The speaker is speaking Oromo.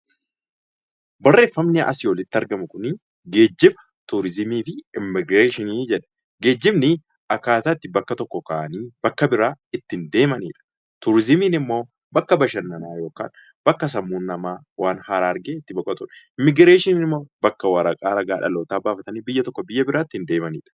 Barreeffamni asiin olitti arginu Kun, geejiba, turizimii fi immigireeshinii jedha. Geejibni akkaataa bakka tokkoo kaa'anii bakka biraa itti gahan, turizimiin immoo bakka bashannanaa yookiin bakka sammuun namaa waan haaraa argee itti boqotudha. Immigireeshinii immoo bakka waraqaa ragaa dhaloota baafatanii biyya tokko biyya biraa ittiin deemaniidha.